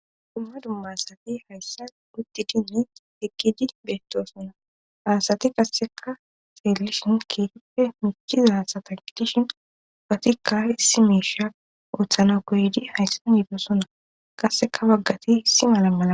dumma dummasati hayssa utti dinni ekkiji beetto sona aasati kasseka seellishin keetippe michiza satangitishin watikka issi miishiya uothana koydi hayssan yiido suna qasseka baggati hissi mala mala